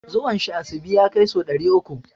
Zuwan shi asibi ya kai sau ɗari uku.